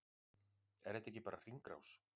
Er þetta ekki bara hringrás?